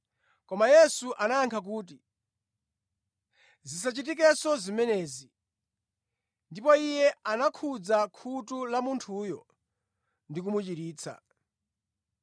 Koma Yesu anayankha kuti, “Zisachitikenso zimenezi!” Ndipo Iye anakhudza khutu la munthuyo ndi kumuchiritsa.